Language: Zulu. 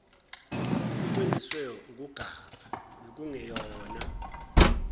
ukwenziswe ukuganga bekungeyona